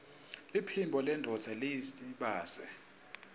liphimbo lendvodza yiytbase